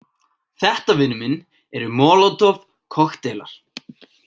Þetta, vinur minn, eru molotov- kokkteilar.